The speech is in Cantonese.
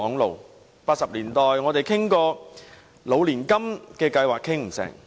在1980年代，我們曾討論"老年金"計劃，但不成功。